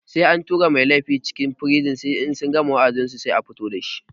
Sai an tura mai laifi cikin firizin sannan in sun gama wa'adinsu sai a fito dasu